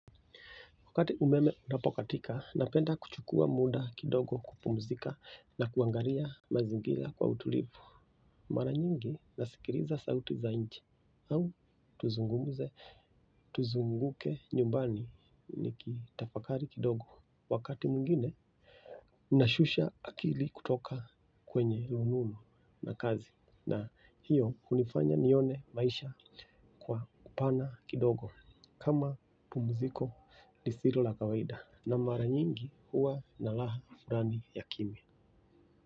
Wakati umeme unapokatika, napenda kuchukua muda kidogo kupumzika na kuangalia mazingira kwa utulivu. Mara nyingi nasikiliza sauti za nje au tuzungumze, tuzunguke nyumbani nikitafakari kidogo. Wakati mwingine, nashusha akili kutoka kwenye rununu na kazi na hiyo hunifanya nione maisha kwa upana kidogo. Kama pumziko lisilo la kawaida na mara nyingi huwa na raha fulani ya kimya.